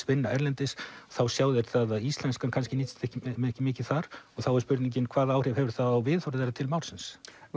vinna erlendis og þá sjá þeir að íslenskan nýtist þeim ekki mikið þar og þá er spurningin hvaða áhrif hefur það á viðhorf þeirra til málsins